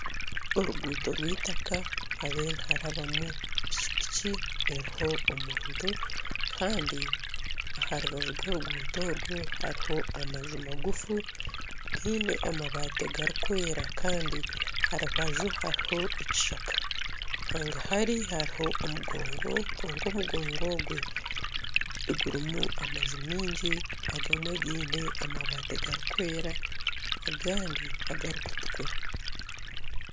Oruguuto rw'itaka niharabamu piki piki eriho omuntu Kandi aharubaju rworuguuto orwo hariho amaju magufu gaine amabaati garikwera Kandi aharubaju hariho ekishaka hangahari hariho omugongo kwonka omugongo ogwe gurimu amaju maingi agamwe gaine amabaati garikwera agandi nagari kutukura